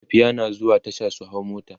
matafiya na zuwa Tasha su hau mota